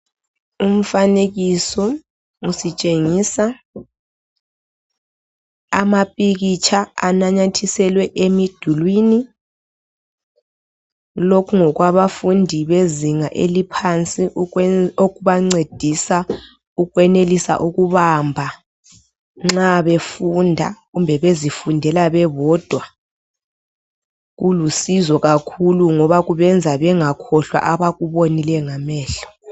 Umfanekiso utshengisa amapikitsha ananyathiselwe Emidulwini lokhu ngokwabanfundi bezinga eliphansi ukwenzela abancedisa ukwenelisa ukubamba nxa befunda kumbe bezifundela bebodwa kulusizo kakhulu ngoba kubenza bengakhohlwa abakubonileyo ngamehlo